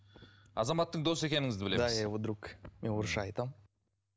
азаматтың досы екеніңізді білеміз да я его друг мен орысша айтамын